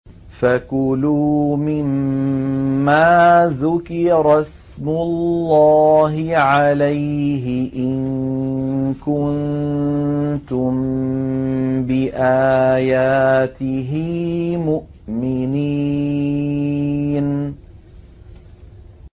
فَكُلُوا مِمَّا ذُكِرَ اسْمُ اللَّهِ عَلَيْهِ إِن كُنتُم بِآيَاتِهِ مُؤْمِنِينَ